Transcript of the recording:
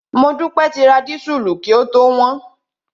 Modúpẹ́ ti ra dísùlù kí ó tó wọ́n.